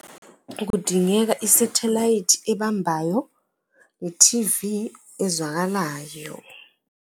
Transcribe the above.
Kudingeka isathelayithi ebambayo, ithivi ezwakalayo.